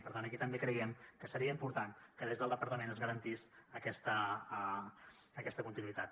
per tant aquí també creiem que seria important que des del departament es garantís aquesta continuïtat